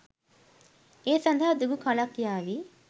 ඒ සදහා දිගු කලක් යාවි.